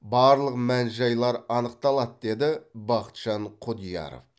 барлық мән жайлар анықталады деді бақытжан құдияров